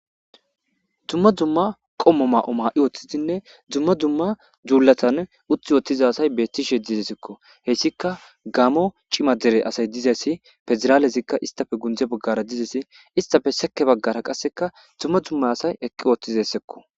Dumma dzumma qommo ma'o ma'i ooththidinne dzumma dzumma duullatan utti woottiza asay beettishe dizesekko hessika gamo cima dere asay dizessi pezraalezikka istafe gundze baggara dizesi istafe seke baggara qasseka dzumma dumma asay eqqi ooththizessekko.